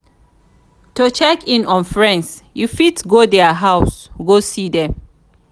to check in on friends you fit go there house go see them